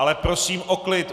Ale prosím o klid!